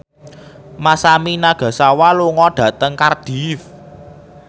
Masami Nagasawa lunga dhateng Cardiff